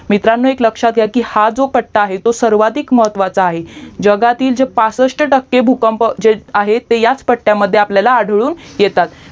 मित्रांनो एक लक्ष्यात घ्या की हा जो पट्टा आहे तो सर्वाधिक महत्वाचा आहे जगातील जे पासस्ट टक्के भूकंप जे आहेत ते ह्याच पट्ट्याला आढळून येतात